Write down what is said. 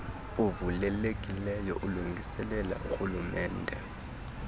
uvulelekileyo ulungiselela orhulumente